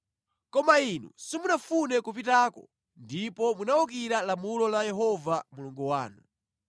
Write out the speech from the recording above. Koma inu simunafune kupitako ndipo munawukira lamulo la Yehova Mulungu wanu.